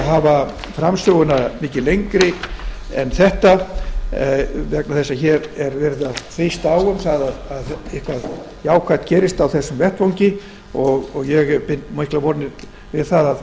að hafa framsöguna mikið lengri vegna þess að hér er verið að þrýsta á um að eitthvað jákvætt gerist á þessum vettvangi ég bind miklar vonir við